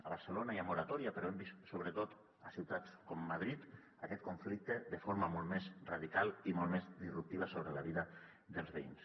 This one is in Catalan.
a barcelona hi ha moratòria però hem vist sobretot a ciutats com madrid aquest conflicte de forma molt més radical i molt més disruptiva sobre la vida dels veïns